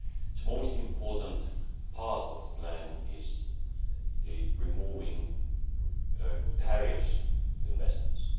The most important part of the plan is the removal of barriers to investments.